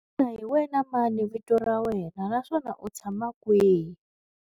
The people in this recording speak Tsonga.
Xana hi wena mani vito ra wena naswona u tshama kwihi?